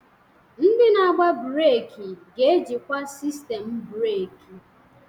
Ndị na-agba breeki ga-ejikwa sistemu breeki.